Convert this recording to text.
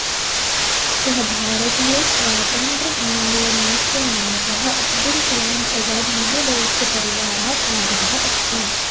सः भारतीय स्वातन्त्र आन्दोलनस्य नायकः अब्दुल कलाम् अज़ाद् महोदयस्य परिवारात् आगतः अस्ति